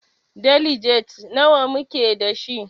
Deliges nawa muke dashi?